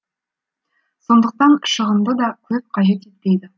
сондықтан шығынды да көп қажет етпейді